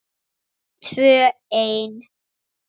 Tvö ein.